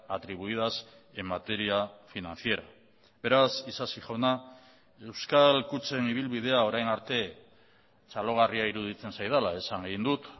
atribuidas en materia financiera beraz isasi jauna euskal kutxen ibilbidea orain arte txalogarria iruditzen zaidala esan egin dut